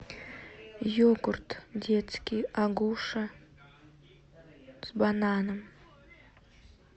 йогурт детский агуша с бананом